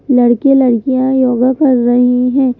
लड़के-लड़कियां yoga कर रहें हैं।